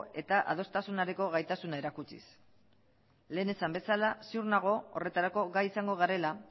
eta adostasunarekiko gaitasuna erakutsiz lehen esan bezala ziur nago horretarako gai izango garela